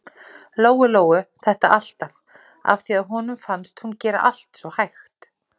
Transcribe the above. Lóu-Lóu þetta alltaf, af því að honum fannst hún gera allt svo hægt.